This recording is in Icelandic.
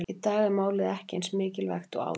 Í dag er málið ekki eins mikilvægt og áður fyrr.